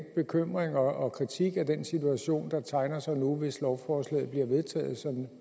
bekymring og kritik af den situation der tegner sig nu hvis lovforslaget bliver vedtaget som